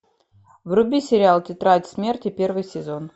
вруби сериал тетрадь смерти первый сезон